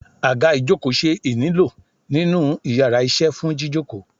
aga ìjokò se ínílo ninu íyarà iṣẹ fún jíjòkó